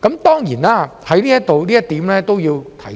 當然，就這一點，我都要在此提出。